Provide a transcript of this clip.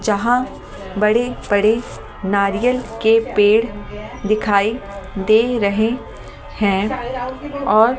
जहां बड़े-बड़े नारियल के पेड़ दिखाई दे रहे हैं और --